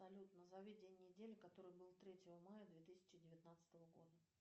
салют назови день недели который был третьего мая две тысячи девятнадцатого года